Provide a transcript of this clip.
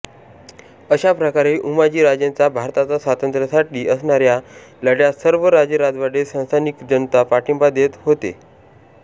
अशा प्रकारे उमाजीराजेंचा भारताचा स्वातंत्र्यासाठी असनाऱ्या लढ्यास सर्व राजेरजवाडेसंस्थानिकजनता पाठिंबा देत होते